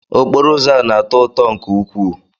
Okporo ụzọ a na-atọ ụtọ nke ukwuu.